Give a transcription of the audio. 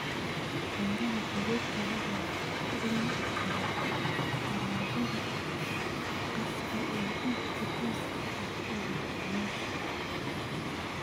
Beeraha xiriirka la leh waxay kobcin karaan alaabada khaaska ah ee iibka tooska ah ee macaamiisha.